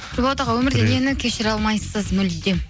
нұрболат аға өмірде нені кешіре алмайсыз мүлдем